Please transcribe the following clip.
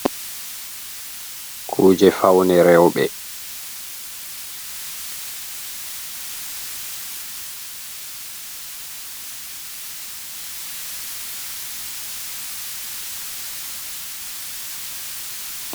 Kuje faune rewɓɓe.